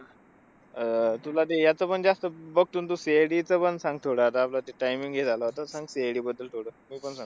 अं तुला ते ह्याचं पण जास्तं बघतो न तू, CID चं पण सांग थोडं. आता आपलं timing हे झालं होतं. सांग CID बद्दल थोडं. मी पण सांगतो.